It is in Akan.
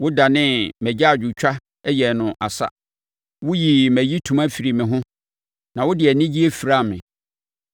Wodanee mʼagyaadwotwa yɛɛ no asa; woyii mʼayitoma firii me ho na wode anigyeɛ firaa me,